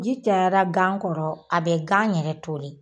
Ji cayara gan kɔrɔ a bɛ gan yɛrɛ toli